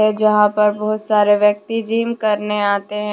जहां पर बहुत सारे व्यक्ति जिम करने आते हैं।